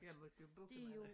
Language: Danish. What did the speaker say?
Jeg måtte jo bukke mig